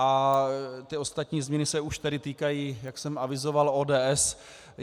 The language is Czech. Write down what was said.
A ty ostatní změny se už tedy týkají, jak jsem avizoval, ODS.